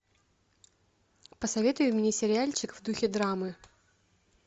посоветуй мне сериальчик в духе драмы